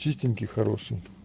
чистенький хороший